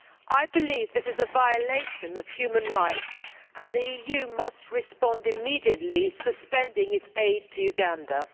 I believe that this is a violation of human rights, and the EU must respond immediately by suspending its aid to Uganda.